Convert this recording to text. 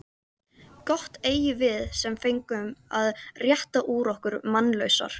Gott eigum við sem fengum að rétta úr okkur mannlausar.